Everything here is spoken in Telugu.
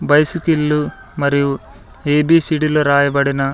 బైస్కిళ్ళు మరియు ఎ బి సి డీ లు రాయబడిన--